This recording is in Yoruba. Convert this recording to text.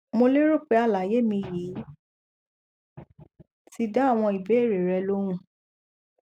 mo lérò pé àlàyé mi yìí ti dá àwọn ìbéèrè rẹ lóhùn